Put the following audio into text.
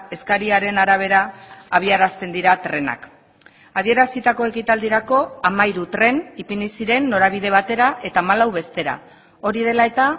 eskariaren arabera abiarazten dira trenak adierazitako ekitaldirako hamairu tren ipini ziren norabide batera eta hamalau bestera hori dela eta